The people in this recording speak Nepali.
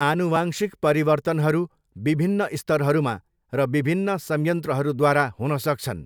आनुवांशिक परिवर्तनहरू विभिन्न स्तरहरूमा र विभिन्न संयन्त्रहरूद्वारा हुन सक्छन्।